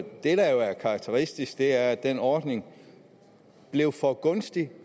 det der jo er karakteristisk er at den ordning blev for gunstig